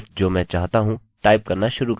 पहला हमेशा id होगा